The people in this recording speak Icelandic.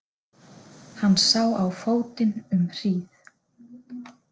Hann sá á fótinn um hríð.